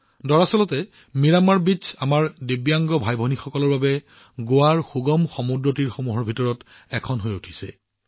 দৰাচলতে মিৰামাৰ বীচ আমাৰ দিব্যাংগ ভাইভনীসকলৰ বাবে গোৱাৰ এক সুগম সমুদ্ৰতীৰ হৈ পৰিছে